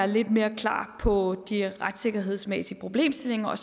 lidt mere klar på de retssikkerhedsmæssige problemstillinger og